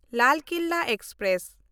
Lal Qila express